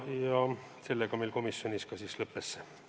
Ja sellega meil komisjonis arutelu lõppes.